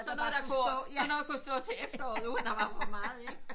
Sådan noget der kunne så noget der kunne stå til efteråret uden der var for meget ikke